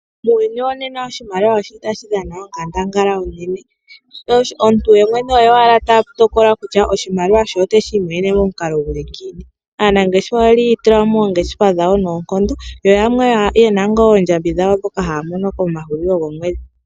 Muuyuni wonena oshimaliwa oshi li tashi dhana onkandangala onene oshoka omuntu oye mwene owala ta tokola kutya oshimaliwa she oteshi imonene momukalo guli ngiini. Aanangeshefa oyeli yiitulamo moongeshefa dhawo noonkondo yo yamwe ye na ngaa oondjambi dhawo mpoka haya mono komahulilo gomwedhi.